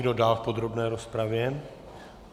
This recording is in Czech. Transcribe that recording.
Kdo dál v podrobné rozpravě?